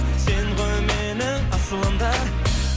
сен ғой менің асылым да